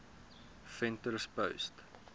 venterspost